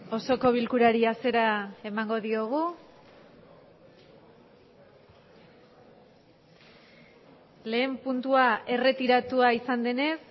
osoko bilkurari hasiera emango diogu lehen puntua erretiratua izan denez